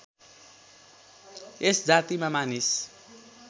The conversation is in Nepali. यस जातिमा मानिस